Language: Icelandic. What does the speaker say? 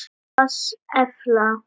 PASS efla